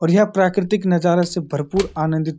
और यह प्रकटिक नजारा से भरपूर आंनदित --